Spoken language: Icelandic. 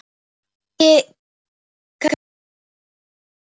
Ekki kannski öllu.